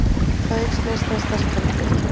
Þá eykst neysla sterkari drykkja.